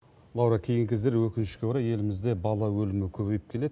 лаура кейінгі кездері өкінішке орай елімізде бала өлімі көбейіп келеді